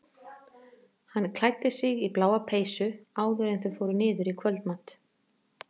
Hann klæddi sig í bláa peysu áður en þau fóru niður í kvöldmat.